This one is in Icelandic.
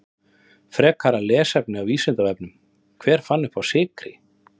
Frekara lesefni á Vísindavefnum: Hver fann uppá sykri?